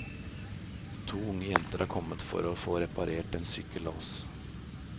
To unge jenter har kommet for å få reparert en sykkellås.